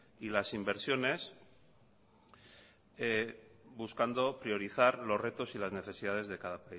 y las inversiones buscando priorizar los retos y las necesidades de cada